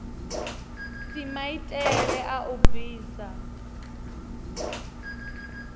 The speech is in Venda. si maitele a u bvisa